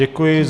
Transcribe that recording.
Děkuji.